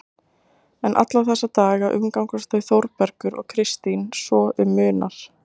En alla þessa daga umgangast þau Þórbergur og Kristín svo um munar.